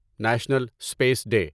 national space day